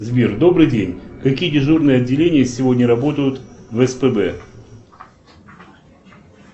сбер добрый день какие дежурные отделения сегодня работают в спб